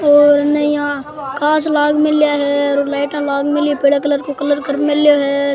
और नई या कांच लाग मिलया है और लाइटाँ लाग मिली है पीले कलर को कलर कर मिल्यो है।